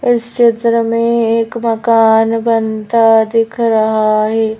इस चित्र में एक मकान बनता दिख रहा है।